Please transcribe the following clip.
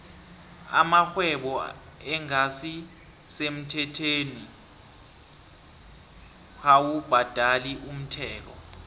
amarhwebo engasi semthethweni dkawu bhadali umthelo